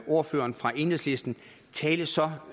ordføreren fra enhedslisten tale så